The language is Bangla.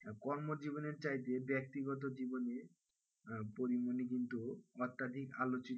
কর্মজীবনের চাইতে ব্যক্তিগত জীবন নিয়ে আহ পরীমনি কিন্তু অত্যাধিক আলোচিত,